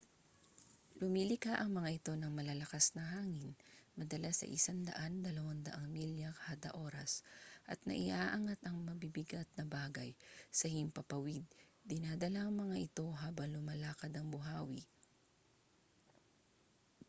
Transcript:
lumilikha ang mga ito ng malalakas na hangin madalas ay 100-200 milya/oras at naiaangat ang mabibigat na bagay sa himpapawid dinadala ang mga ito habang lumalakad ang buhawi